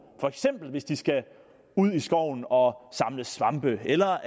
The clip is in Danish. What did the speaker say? for eksempel hvis de skal ud i skoven og samle svampe eller